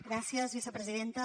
gràcies vicepresidenta